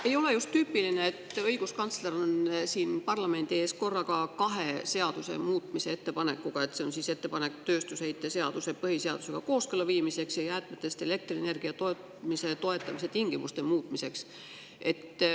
Ei ole just tüüpiline, et õiguskantsler on siin parlamendi ees korraga kahe seaduse muutmise ettepanekuga: on ettepanek tööstusheite seaduse põhiseadusega kooskõlla viimiseks ja jäätmetest elektrienergia tootmise toetamise tingimuste muutmiseks.